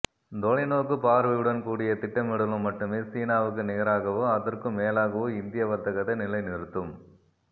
தொலைநோக்குப் பார்வையுடன் கூடிய திட்டமிடலும் மட்டுமே சீனாவுக்கு நிகராகவோ அதற்கும் மேலாகவோ இந்திய வர்த்தகத்தை நிலைநிறுத்தும்